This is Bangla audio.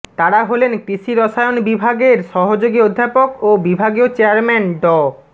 তারা হলেন কৃষি রসায়ন বিভাগের সহযোগী অধ্যাপক ও বিভাগীয় চেয়ারম্যান ড